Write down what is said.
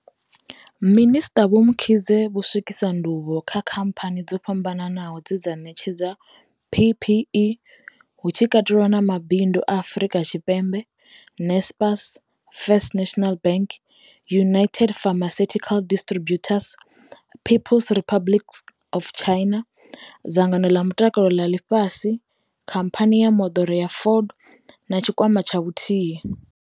Minisṱa Vho Mkhize vho swikisa ndivhuwo kha khamphani dzo fhambanaho dze dza ṋetshedza PPE, hu tshi katelwa na Mabindu a Afrika Tshipembe, Naspers, First National Bank, United Pharmaceuti-cal Distributors, Peoples Republic of China, Dzangano ḽa Mutakalo ḽa Ḽifhasi, Khamphani ya Moḓoro ya Ford na Tshikwama tsha Vhuthihi.